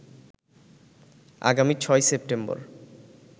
আগামী ৬ সেপ্টেম্বর